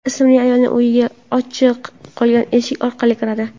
ismli ayolning uyiga ochiq qolgan eshik orqali kiradi.